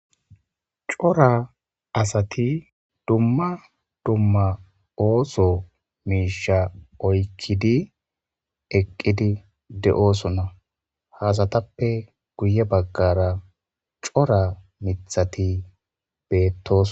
Cora asati duma duma ooso miisha oykidi eqidi de'osona ha asatupeka guye bagara cora mithati beetosona.